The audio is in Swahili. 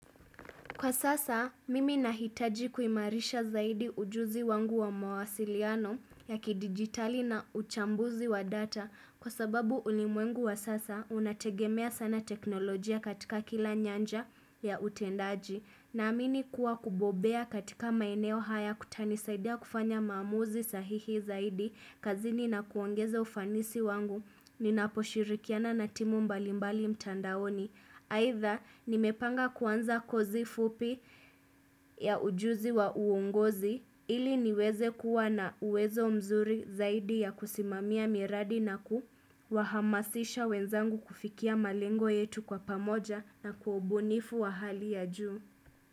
Kwa sasa, mimi nahitaji kuimarisha zaidi ujuzi wangu wa mawasiliano ya kidigitali na uchambuzi wa data Kwa sababu ulimwengu wa sasa, unategemea sana teknolojia katika kila nyanja ya utendaji Naamini kuwa kubobea katika maeneo haya kutanisaidia kufanya maamuzi sahihi zaidi kazini na kuongeza ufanisi wangu, ninaposhirikiana na timu mbalimbali mtandaoni. Aidha, nimepanga kuanza kozi fupi ya ujuzi wa uongozi ili niweze kuwa na uwezo mzuri zaidi ya kusimamia miradi na kuwahamasisha wenzangu kufikia malengo yetu kwa pamoja na kwa ubunifu wa hali ya juu.